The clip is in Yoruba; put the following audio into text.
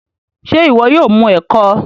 ṣe iwọ yóò mu eko?